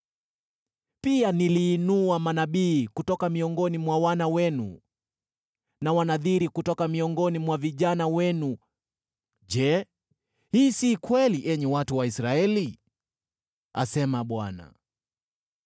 Pia niliinua manabii kutoka miongoni mwa wana wenu na Wanadhiri kutoka miongoni mwa vijana wenu. Je, hii si kweli, enyi watu wa Israeli?” asema Bwana .